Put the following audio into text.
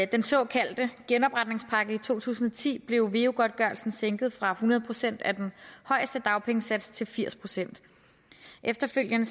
den såkaldte genopretningspakke i to tusind og ti blev veu godtgørelsen sænket fra hundrede procent af den højeste dagpengesats til firs procent efterfølgende